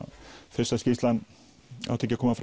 fyrst að skýrslan átti ekki að koma